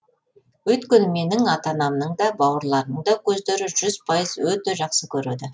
өйткені менің ата анамның да бауырларымның да көздері жүз пайыз өте жақсы көреді